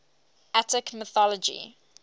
attic mythology